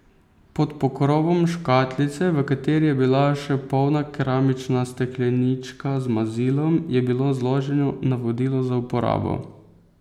Pod pokrovom škatlice, v kateri je bila še polna keramična steklenička z mazilom, je bilo zloženo navodilo za uporabo.